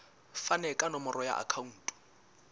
fane ka nomoro ya akhauntu